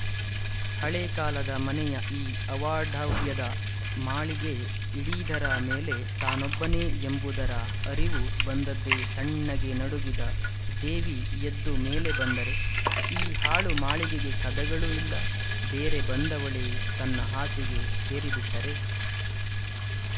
ಹಳೇಕಾಲದ ಮನೆಯ ಈ ಅವಾಢವ್ಯದ ಮಾಳಿಗೆ ಇಡೀದರ ಮೇಲೆ ತಾನೊಬ್ಬನೇ ಎಂಬುದರ ಅರಿವು ಬಂದದ್ದೇ ಸಣ್ಣಗೆ ನಡುಗಿದ ದೇವಿ ಎದ್ದು ಮೇಲೆ ಬಂದರೆ ಈ ಹಾಳು ಮಾಳಿಗೆಗೆ ಕದಗಳೂ ಇಲ್ಲ ಬೇರೆ ಬಂದವಳೇ ತನ್ನ ಹಾಸಿಗೆ ಸೇರಿಬಿಟ್ಟರೆ